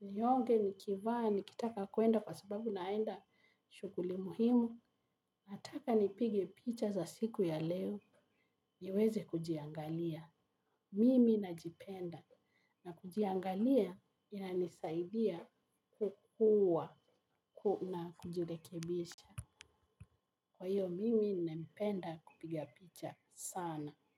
nionge, nikivaa, nikitaka kwenda kwa sababu naenda shughuli muhimu. Nataka nipige picha za siku ya leo niweze kujiangalia. Mimi na jipenda na kujiangalia inanisaidia kukua na kujilekebisha. Kwa hiyo, mimi na mpenda kupigia picha sana.